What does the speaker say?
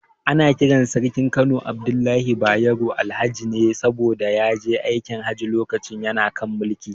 Ana kiran Sarkin Kano Abdullahi Bayero, Alhaji ne saboda ya je aikin Hajji lokacin yana kan mulki.